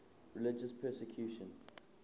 religious persecution